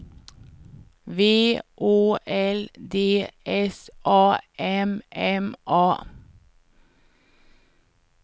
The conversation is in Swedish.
V Å L D S A M M A